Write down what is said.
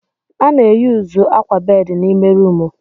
A na-eyuzu akwa bedị n'ime rumụ.